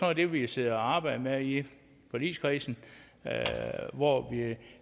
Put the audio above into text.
af det vi sidder og arbejder med i forligskredsen hvor vi